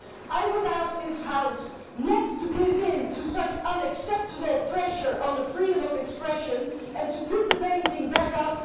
I would ask this House not to give in to such unacceptable pressure on the freedom of expression, and to put the painting back up.